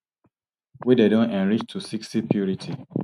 wey dem don enrich to sixty purity